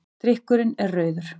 Drykkurinn er rauður.